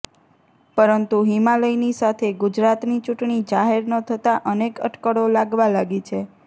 પરંતુ હિમાલયની સાથે ગુજરાતની ચૂંટણી જાહેર ન થતાં અનેક અટકળો લાગવા લાગી છે